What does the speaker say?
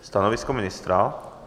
Stanovisko ministra?